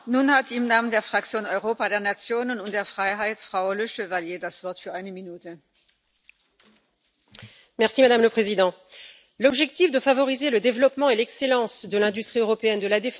Madame la Présidente, l'objectif de favoriser le développement et l'excellence de l'industrie européenne de la défense est positif, tout comme celui de favoriser l'achat par les États membres de matériel issu des pays de l'Union européenne plutôt que de pays tiers.